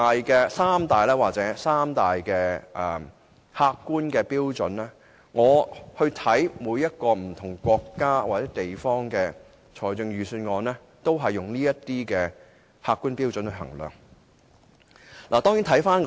就這三大客觀標準，我參考過不同國家或地方的預算案，他們皆是用這些客觀標準來衡量的。